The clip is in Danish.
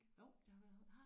Jo